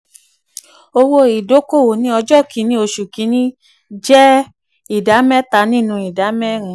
owó ìdókòwò ní ọjọ́ kìíní oṣù kìíní jẹ́ oṣù kìíní jẹ́ ìdá mẹ́ta nínú ìdá mẹ́rin.